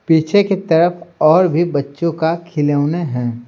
पीछे की तरफ और भी बच्चों का खिलौने हैं।